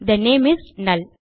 they name is நல்